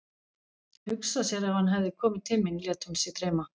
Hugsa sér ef hann hefði komið til mín, lét hún sig dreyma.